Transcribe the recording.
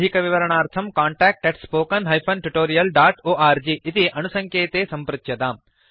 अधिकविवरणार्थं contact spoken tutorialorg इति अणुसङ्केते सम्पृच्यताम्